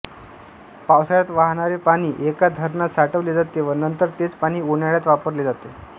पावसाळ्यात वाहणारे पाणी एका धरणात साठवले जाते व नंतर तेच पाणी उन्हाळ्यात वापरले जाते